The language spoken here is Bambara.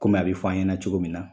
Kɔmi an bi fɔ an ɲɛna cogo min na